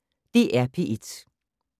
DR P1